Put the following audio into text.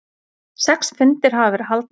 Sex fundir hafa verið haldnir.